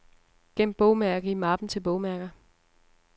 Gem bogmærke i mappen til bogmærker.